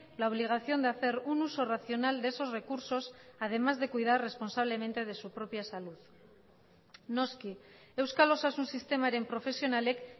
la obligación de hacer un uso racional de esos recursos además de cuidar responsablemente de su propia salud noski euskal osasun sistemaren profesionalek